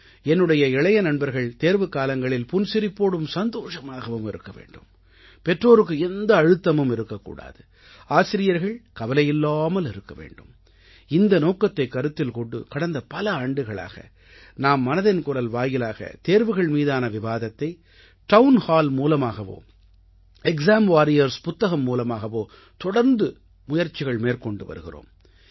என்னுடைய இளைய நண்பர்கள் தேர்வுக்காலங்களில் புன்சிரிப்போடும் சந்தோஷமாகவும் இருக்க வேண்டும் பெற்றோருக்கு எந்த அழுத்தமும் இருக்கக்கூடாது ஆசிரியர்கள் கவலையில்லாமல் இருக்க வேண்டும் இந்த நோக்கத்தைக் கருத்தில் கொண்டு கடந்த பல ஆண்டுகளாக நாம் மனதின் குரல் வாயிலாக தேர்வுகள் மீதான விவாதத்தை டவுன் ஹால் மூலமாகவோ எக்ஸாம் வாரியர்ஸ் புத்தகம் மூலமாகவோ தொடர்ந்து முயற்சிகள் மேற்கொண்டு வருகிறோம்